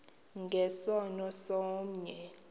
nge sono somnye